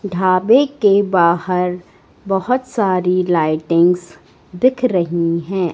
ढाबे के बाहर बहोत सारी लाइटिंग्स दिख रही है।